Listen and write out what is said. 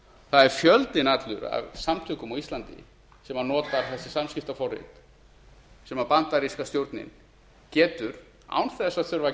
það er fjöldinn allur af samtökum á íslandi sem nota þessi samskiptaforrit sem bandaríska stjórnin getur án þess að þurfa að